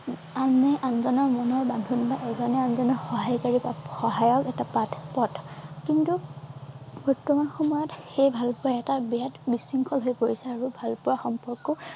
আনে আনজনৰ মনৰ বান্ধোন বা এজনে আনজনৰ সহায়কাৰী বা সহায়ক এটা পাঠ পথ কিন্তু বৰ্তমান সময়ত সেই ভালপোৱা এটা বেয়াত বিশৃংখল হৈ পৰিছে আৰু ভালপোৱা সম্পৰ্ক